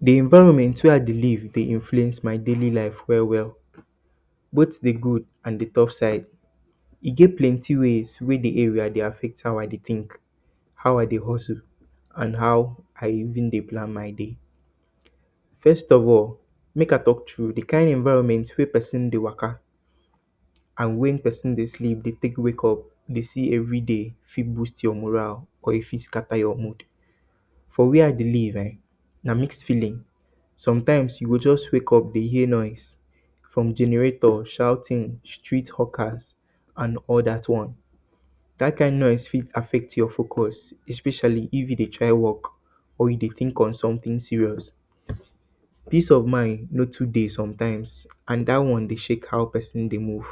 Di environment wey I dey live dey influence my daily life well, well, both di good and di tough sides. E get plenty ways wey di areas dey affect how I dey think. How I dey hustle and how how I dey think. How I dey hustle and how I even dey plan my day. First of all, mek I talk true, di kind environment wey pesin dey waka and wen pesin dey sleep dey quick wake up, dey see everyday fit boost your moral or e fit scata your mood. For where I dey live eh, na mix feeling. Sometimes, you go just wake up dey hear noise, from generator shouting. Street hawkers, and all dat one, dat kind noise fit affect your focus. Especially, if you dey try work or you dey think on somtin serious. Peace of mind no too dey sometimes and dat one dey shake how pesin dey move.